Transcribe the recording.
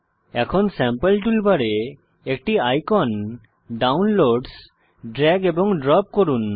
এখন sample toolbar এ একটি আইকন ডাউনলোডসহ ড্রেগ এবং ড্রপ করুন